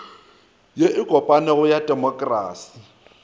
ye e kopanego ya temokrasi